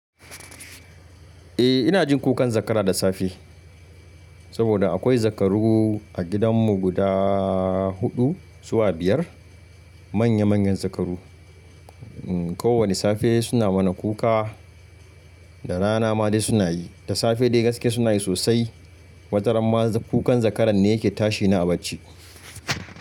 Eh ina jin kukan zakara da safe. Saboda akwai zakaru a gidanmu guda huɗu zuwa biyar. Manya manyan zakaru. Kowani safe suna mana kuka da rana ma dai suna yi. Da safe dai gaske suna yi sosai. Wajen ramma kukan zakaran ne yake tashi ni a bacci.